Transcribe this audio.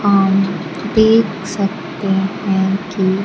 अमं देख सकते हैं की--